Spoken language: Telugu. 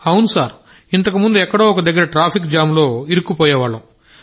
అవును సార్ ఇంతకుముందు ఎక్కడో ఒక దగ్గర ట్రాఫిక్ జామ్ లో ఇరుక్కుపోయేవాళ్ళం